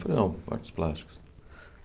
Falei, não, artes plásticas.